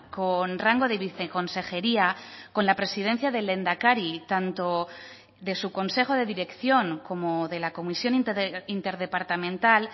con rango de viceconsejería con la presidencia del lehendakari tanto de su consejo de dirección como de la comisión interdepartamental